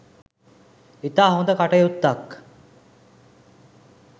ඉතා හොඳ කටයුත්තක්